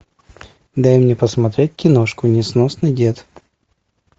дай мне посмотреть киношку несносный дед